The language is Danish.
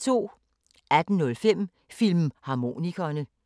18:05: Filmharmonikerne